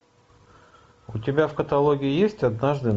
у тебя в каталоге есть однажды